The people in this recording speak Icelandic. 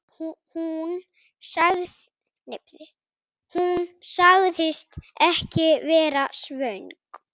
Hún sagðist ekki vera svöng.